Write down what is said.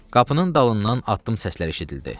Qapının dalından addım səsləri eşidildi.